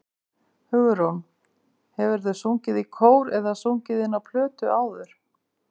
Hugrún: Hefurðu sungið í kór eða sungið inn á plötu áður?